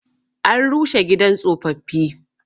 An rushe gidan tsofaffi.